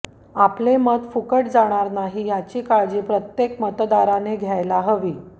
आपले मत फुकट जाणार नाही याची काळजी प्रत्येक मतदाराने घ्यायला हवी